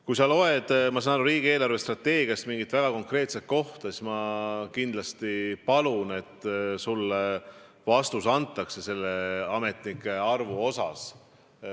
Ma saan aru, et sa lugesid riigi eelarvestrateegiast mingit väga konkreetset kohta, ja ma kindlasti palun, et sulle antakse vastus ametnike arvu kohta.